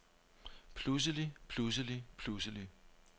pludselig pludselig pludselig